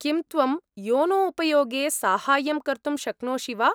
किं त्वं योनो उपयोगे साहाय्यं कर्तुं शक्नोषि वा?